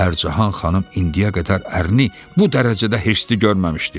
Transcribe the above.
Pərcəhan xanım indiyə qədər ərini bu dərəcədə hirsli görməmişdi.